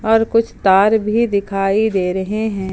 और कुछ तार भी दिखाई दे रहे है।